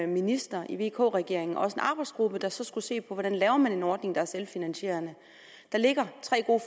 minister i vk regeringen også en arbejdsgruppe der så skulle se på hvordan man lavede en ordning der var selvfinansierende der ligger tre gode